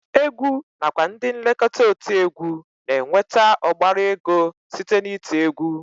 Egwu nakwa ndị nlekọta otiegwu na-enweta ọgbara ego site n'iti egwu